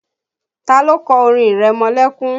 Ta ló kọ orin ìrẹmọlẹ́kún?